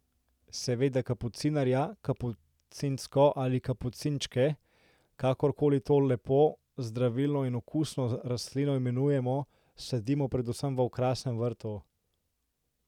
Seveda kapucinarja, kapucinko ali kapucinčke, kakor koli to lepo, zdravilno in okusno rastlino imenujemo, sadimo predvsem v okrasnem vrtu.